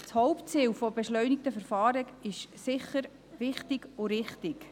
Das Hauptziel beschleunigter Verfahren ist sicher wichtig und richtig.